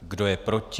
Kdo je proti?